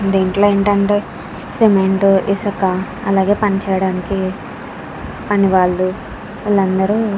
దీంట్లో ఏంటంటే సిమెంటు ఇసుక అలాగే పని చేయడానికి పని వాళ్ళు వాళ్ళందరూ --